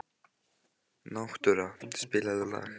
Náttúra, spilaðu lag.